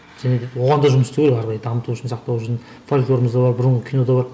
және де оған да жұмыс істеу керек ары қарай дамыту үшін сақтау үшін фольклорымыз да бар бұрынғы кино да бар